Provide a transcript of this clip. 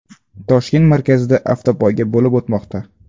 Toshkent markazida avtopoyga bo‘lib o‘tmoqda.